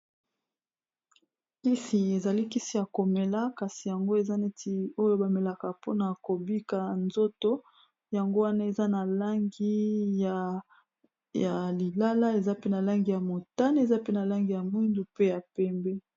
Kisi ezali kisi ya komela kasi yango eza neti oyo ba melaka mpona kobika nzoto yango wana eza na langi ya lilala, eza pe na langi ya motane, eza pe na langi ya mwindu, pe ya pembe.